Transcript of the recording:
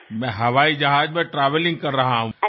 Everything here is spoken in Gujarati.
હું હવાઈ જહાજમાં પ્રવાસ કરી રહ્યો છું